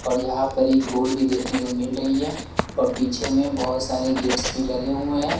और यहां पर एक बोर्ड भी देखने को मिल रही है और पीछे में बहुत सारे गेट्स भी लगे हुए हैं।